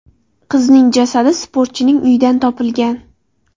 Qizning jasadi sportchining uyidan topilgan.